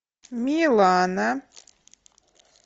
милана